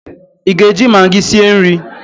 ị ga-eji Magị sie nri?